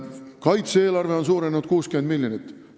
Kaitse-eelarve on suurenenud 60 miljonit.